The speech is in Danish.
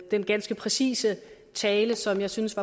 den ganske præcise tale som jeg synes